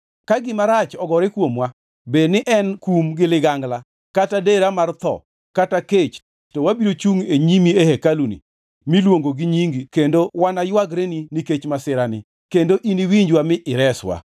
‘Ka gima rach ogore kuomwa, bed ni en kum gi ligangla kata dera mar tho kata kech, to wabiro chungʼ e nyimi e hekaluni miluongo gi Nyingi kendo wanaywagreni nikech masirani, kendo iniwinjwa mi ireswa.’